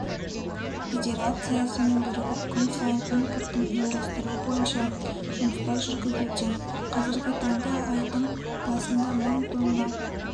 федерациясымен бірігіп күн сайын импортын ұйымдастыру бойынша жұмыстар жүргізуде қазіргі таңда айдың басында мың тонна